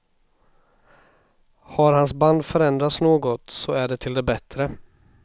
Har hans band förändrats något så är det till det bättre.